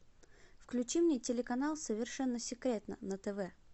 включи мне телеканал совершенно секретно на тв